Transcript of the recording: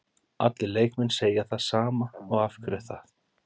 Allir leikmenn segja það sama og af hverju er það?